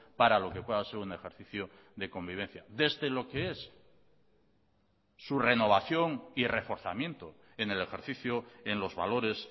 para lo que pueda ser un ejercicio de convivencia desde lo que es su renovación y reforzamiento en el ejercicio en los valores